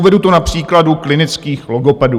Uvedu to na příkladu klinických logopedů.